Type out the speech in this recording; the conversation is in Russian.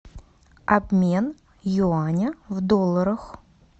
обмен юаня в долларах